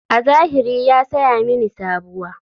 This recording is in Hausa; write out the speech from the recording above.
A zahiri ya saya mini sabuwa.